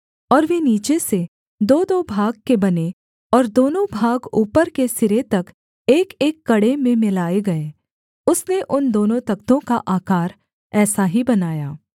और वे नीचे से दोदो भाग के बने और दोनों भाग ऊपर के सिरे तक एकएक कड़े में मिलाए गए उसने उन दोनों तख्तों का आकार ऐसा ही बनाया